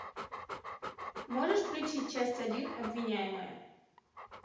можешь включить часть один обвиняемая